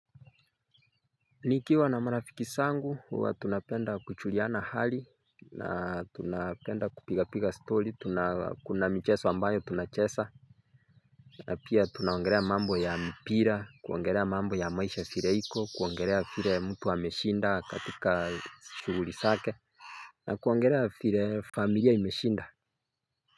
Nikiwa na marafiki zangu, huwa tunapenda kuchuliana hali, na tunapenda kupiga-piga story, kuna mchezo ambayo tunacheza na pia tunaongelea mambo ya mpira, kuongelea mambo ya maisha vile iko, kuongelea vile mtu ameshinda katika shuguli zake na kuongelea vile familia imeshinda.